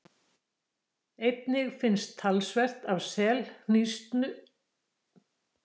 Einnig finnst talsvert af selhnísu við Bretlandseyjar og suður eftir ströndum Vestur-Evrópu allt til Portúgals.